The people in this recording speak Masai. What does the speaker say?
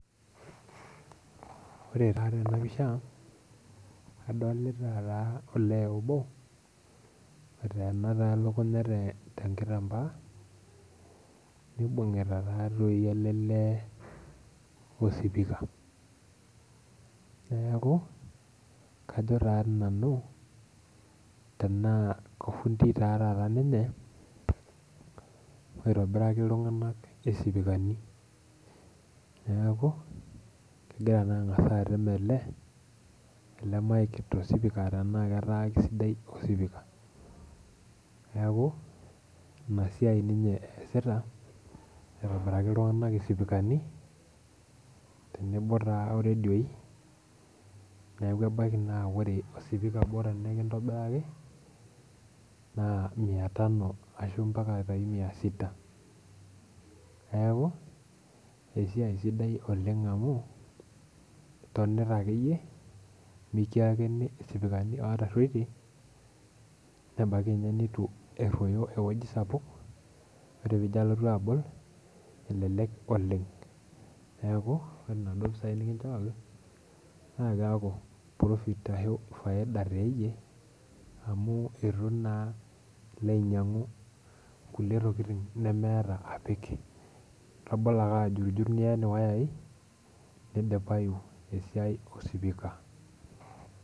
Ore taa tenapisha, adolita taa olee obo, oteena taa elukunya tenkitambaa, nibung'ita tatoi ele lee osipika. Neeku, kajo tati nanu, tenaa kofundi ta taata ninye, oitobiraki iltung'anak isipikani. Neeku, kegira naa ang'asa atem ele, ele mic tosipika tenaa ketaa kesidai osipika. Neeku, inasiai ninye eesita, aitobiraki iltung'anak isipikani, tenebo taa oredioi, neeku ebaiki naa ore osipika obo naa mia tano ashu mia sita, neeku esiai sidai oleng amu, tonita akeyie, mikiakini isipikani otarruotie, nebaiki nye nitu erruoyo ewoji sapuk, ore pijo alotu abol, elelek oleng. Neeku, ore naduo pisai nikinchooki, na keeku profit ashu faida teyie, amu itu naa ilo ainyang'u nkulie tokiting nemeeta apik. Itabolo ake ajutjut nien iwayai, nidipayu esiai osipika.